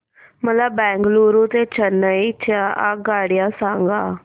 मला बंगळुरू ते चेन्नई च्या आगगाड्या सांगा